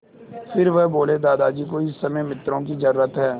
फिर वह बोले दादाजी को इस समय मित्रों की ज़रूरत है